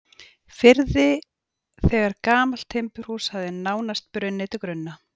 firði þegar gamalt timburhús hafði nánast brunnið til grunna.